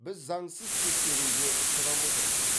біз заңсыз тексеруге ұшырап отырмыз